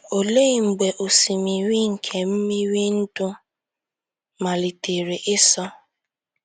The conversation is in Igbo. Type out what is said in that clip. Olee mgbe “ osimiri nke mmiri ndụ ” malitere ịsọ?